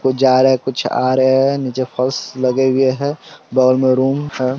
कुछ जा रहा है कुछ आ रहा है नीचे फर्श लगे हुए है बगल मे रूम है।